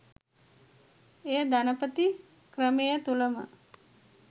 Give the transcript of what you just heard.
එය ධනපති ක්‍රමය තුළම